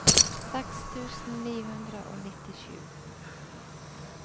seks tusen ni hundre og nittisju